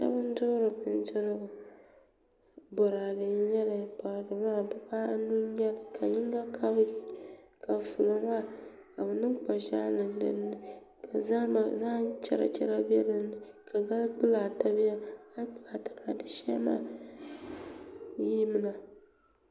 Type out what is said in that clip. Doo n duɣuri bindirigu boraadɛ n nyɛli boraadɛ maa dibaanu n nyɛli ka yinga kabigi ka fulo maa ka bi niŋ kpa ʒiɛɣu niŋ dinni ka zaham chɛra chɛra bɛ dinni ka gali kpulaa ata biɛni gali kpulaa ata maa di shee maa yirimina